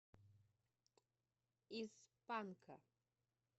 из панка